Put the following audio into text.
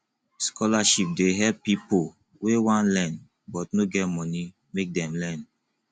scholarship dey help pipo wey wan learn but no get money make dem learn